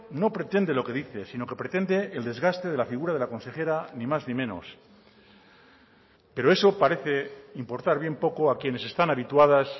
no pretende lo que dice sino que pretende el desgaste de la figura de la consejera ni más ni menos pero eso parece importar bien poco a quienes están habituadas